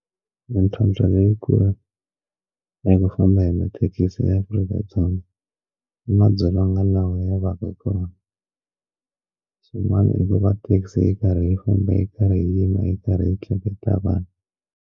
Mintlhotlho leyikulu leyi ku famba hi mathekisi eAfrika-Dzonga i madzolonga lawa yavaka hikona swin'wana i ku va thekisi yi karhi yi famba yi karhi yi yima yi karhi yi tleketla vanhu.